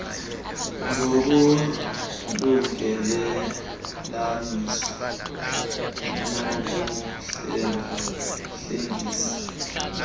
ngokulungelelanisa nokuhlenga hlengisa